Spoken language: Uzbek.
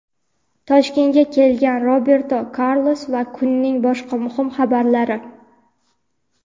Toshkentga kelgan Roberto Karlos va kunning boshqa muhim xabarlari.